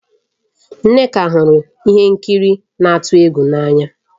Nneka hụrụ ihe nkiri na-atụ egwu n'anya